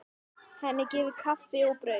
Henni gefið kaffi og brauð.